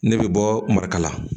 Ne bɛ bɔ marikala